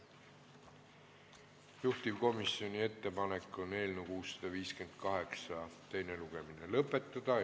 Juhtivkomisjoni ettepanek on eelnõu 658 teine lugemine lõpetada.